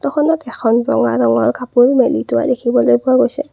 ফটোখনত এখন ৰঙা ৰঙৰ কাপোৰ মেলি থোৱা দেখিবলৈ পোৱা গৈছে।